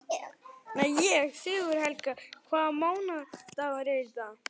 Sigurhelga, hvaða mánaðardagur er í dag?